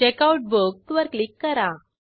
checkout book वर click करा